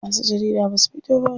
Masu jarida basu fito ba.